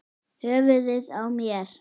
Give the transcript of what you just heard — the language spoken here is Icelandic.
Höfuðið á mér